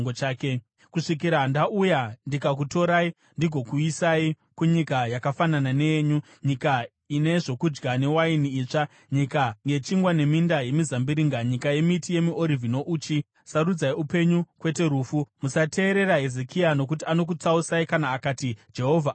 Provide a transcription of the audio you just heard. kusvikira ndauya ndikakutorai ndigokuisai kunyika yakafanana neyenyu, nyika ine zvokudya newaini itsva, nyika yechingwa neminda yemizambiringa, nyika yemiti yemiorivhi nouchi. Sarudzai upenyu kwete rufu! “Musateerera Hezekia, nokuti anokutsausai kana akati, ‘Jehovha achatirwira.’